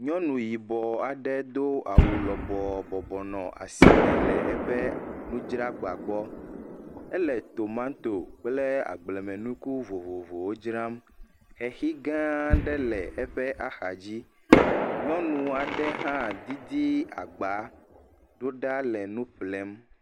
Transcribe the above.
Nyɔnu yibɔ aɖe do awɔ lɔbɔɔ bɔbɔ nɔ asime le eƒe nudzragba gbɔ. Ele tomato kple agblemenuku vovovowo dzram. Xexigãa aɖe le eƒe axadzi. Nyɔnu aɖe hã didi agbaa ɖo ɖa le nu ƒlem.